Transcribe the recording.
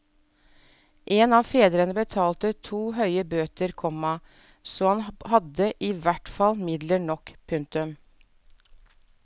En av fedrene betalte to høye bøter, komma så han hadde i hvert fall midler nok. punktum